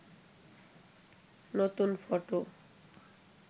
নতুন ফটো